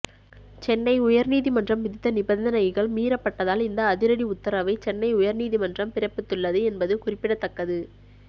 சென்னை உயர்நீதிமன்றம் விதித்த நிபந்தனைகள் மீறப்பட்டதால் இந்த அதிரடி உத்தரவை சென்னை உயர் நீதிமன்றம் பிறப்பித்துள்ளது என்பது குறிப்பிடத்தக்கது